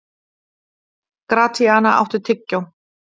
Gratíana, áttu tyggjó?